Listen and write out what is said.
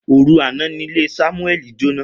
Oru ana ni ile Samueli jona.